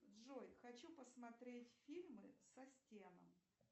джой хочу посмотреть фильмы со стеном